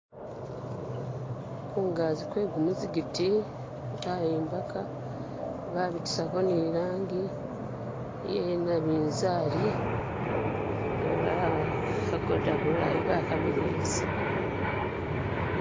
Kungazi kwegumuzigiti bayimbaka babitisako ni langi yenabizali bakhagoda bulayi bakamiliyisa